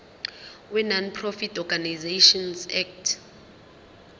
wenonprofit organisations act